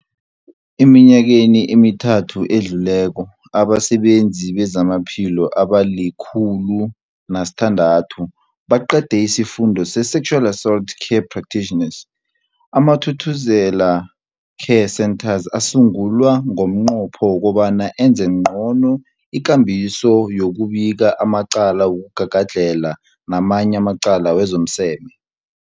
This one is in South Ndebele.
Eminyakeni emithathu edluleko, abasebenzi bezamaphilo abali-106 baqede isiFundo se-Sexual Assault Care Practitioners. AmaThuthuzela Care Centres asungulwa ngomnqopho wokobana enze ngcono ikambiso yokubika amacala wokugagadlhela namanye amacala wezomseme.